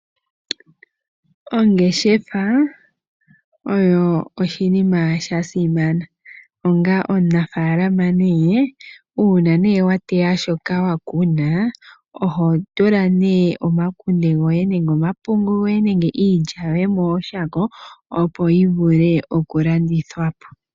Ongeshefa oyo oshinima shasimana, onga omunafaalama uuna wateya nee shoka wakuna oho tula nee omakunde goye, omapungu nenge iilya yoye mooshako opo yi vule oku ka landithwa po.